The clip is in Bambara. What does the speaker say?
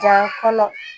Ja kɔnɔ